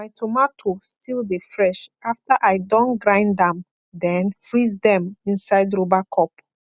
my tomatoe still dey fresh after i don grind am then freeze dem inside rubber cup